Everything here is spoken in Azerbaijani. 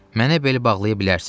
Mənə bel bağlaya bilərsiz.